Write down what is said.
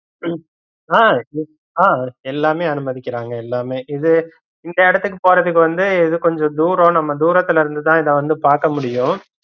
ஆஹ் அஹ் எல்லாமே அனுமதிக்கறாங்க எல்லாமே இது இந்த எடத்துக்கு போறதுக்கு வந்து இது கொஞ்ச தூரம் நம்ம தூரத்துல இருந்து தா இத வந்து பாக்க முடியும்